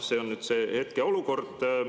See on nüüd see hetkeolukord.